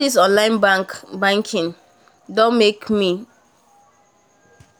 all these online banking doh make am doh make am easy for people to put money for bank